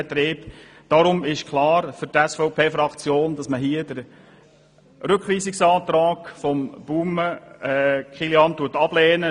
Es ist für die SVP-Fraktion deshalb klar, dass sie den Rückweisungsantrag von Kilian Baumann ablehnt.